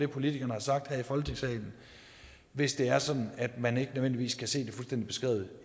politikerne har sagt her i folketingssalen hvis det er sådan at man ikke nødvendigvis kan se det fuldstændig beskrevet